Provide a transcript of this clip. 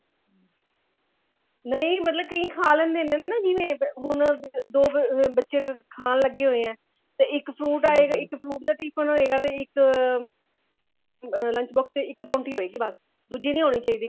ਨਹੀਂ ਮਤਲਬ ਕਈ ਖਾ ਲਿੰਦੇ ਨੇ ਨਾ ਜਿਵੇਂ ਹੁਣ ਦੋ ਬੱਚੇ ਖਾਨ ਲੱਗੇ ਹੋਏ ਐ ਤੇ ਇੱਕ fruit ਆਏਗਾ ਤੇ ਇੱਕ fruit ਦਾ tiffin ਹੋਏਗਾ ਤੇ ਇੱਕ lunch box ਚ ਇੱਕ ਪਰੋੰਠੀ ਹੋਏਗੀ ਬਸ ਦੁੱਜੀ ਨਹੀਂ ਹੋਣੀ ਚਾਹੀਦੀ